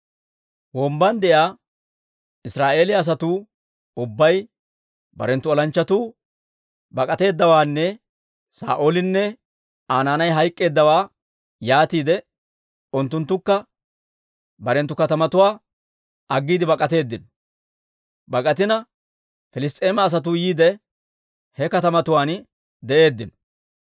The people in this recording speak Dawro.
Wombban de'iyaa Israa'eeliyaa asatuu ubbay barenttu olanchchatuu bak'ateeddawaanne Saa'oolinne Aa naanay hayk'k'eeddawaa siseedda wode, unttunttukka barenttu katamatuwaa aggiide bak'atteedino. Bak'atina Piliss's'eema asatuu yiide, he katamatuwaan de'eeddino.